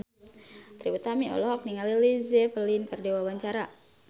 Trie Utami olohok ningali Led Zeppelin keur diwawancara